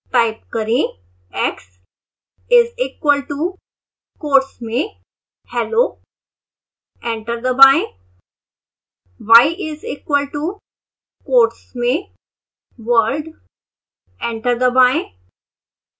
type करें